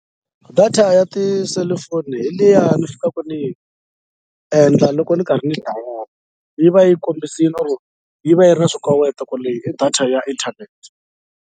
Data ya tiselifoni hi liya ni fikaka ni yi endla loko ni karhi ni yi va yi kombisini or yi va yi ri na swikoweto ku leyi i data ya internet.